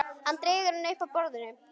Hann dregur hana upp að borðinu.